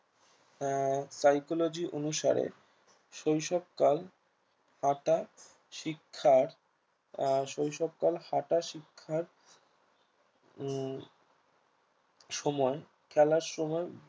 আহ psychology অনুসারে শৈশবকাল হাঁটা শিক্ষার আহ শৈশবকাল হাঁটা শিক্ষার উম সময় খেলার সময়